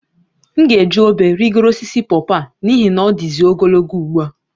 M ga-eji obe rịgoro osisi pọpọ a n'ihi na ọ dịzị ogologo ugbu a